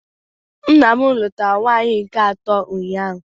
Nna m lụtara nwaanyị nke atọ ụnyaahụ